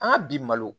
An ka bi malo